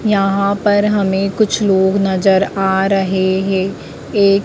यहां पर हमें कुछ लोग नजर आ रहे हैं एक--